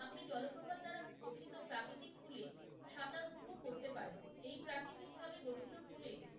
আপনি জলপ্রপাত দ্বারা গঠিত প্রাকৃতিক pool এ সাঁতার উপভোগ করতে পারেন। এই প্রাকৃতিক ভাবে গঠিত pool এ